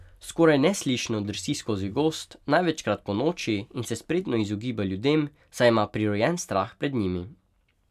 Skoraj neslišno drsi skozi gozd, največkrat ponoči, in se spretno izogiba ljudem, saj ima prirojen strah pred njimi.